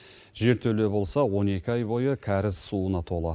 жертөле болса он екі ай бойы кәріз суына толы